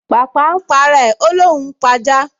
Pàpà n p’ara rẹ̀, ó l’óun ó p’ajá